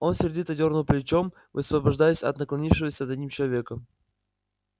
он сердито дёрнул плечом высвобождаясь от наклонившегося над ним человека